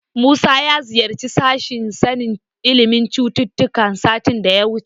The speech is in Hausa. Musa ya ziyarci sashen sanin ilimin cututtuka satin da ya wuce.